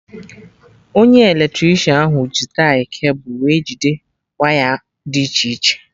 Onye Eletricịanahụ ji tie cable wee jide waya dị iche iche